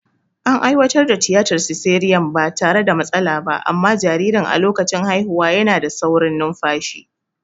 An aiwatar da tiyatar siseriyan ba tare da matsala ba, amma jaririn a lokacin haihuwa yana da saurin numfashi.